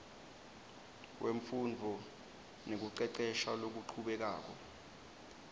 wemfundvo nekucecesha lokuchubekako